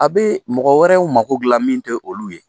A bɛ mɔgɔ wɛrɛw mago dila min tɛ olu ye.